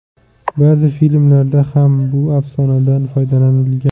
Ba’zi filmlarda ham bu afsonadan foydalanilgan.